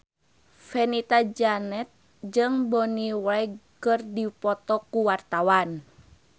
Fenita Jayanti jeung Bonnie Wright keur dipoto ku wartawan